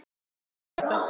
Og nú kemur þetta.